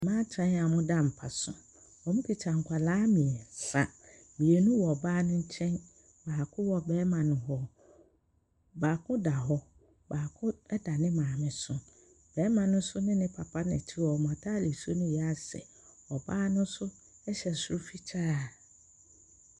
Mmaatan a wɔda mapa so. Wɔkita nkwadaa mmiɛnsa. Mmienu wɔ ɔbaa no nkyɛ baako no wɔ barima no hɔ. Baako da hɔ, baako da ne maame so. Barima no nso ne ne papa na ɛte hɔ na wɔn ataade no reyɛ asɛ. Ↄbaa no nso hyɛ soro fitaa.